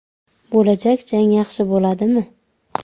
Bo‘lajak jang yaxshi bo‘ladimi?